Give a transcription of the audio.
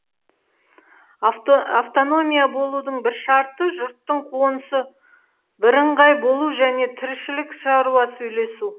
автономия болудың бір шарты жұрттың қонысы бірыңғай болу және тіршілік шаруасы үйлесу